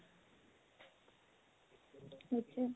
সেইটোয়ে